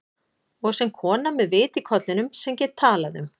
Og sem kona með vit í kollinum, sem get talað um